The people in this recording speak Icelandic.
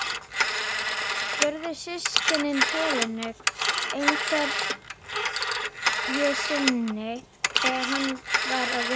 spurðu systkinin Helenu einhverju sinni þegar hann var að vinna.